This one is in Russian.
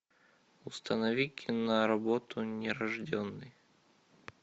установи киноработу нерожденный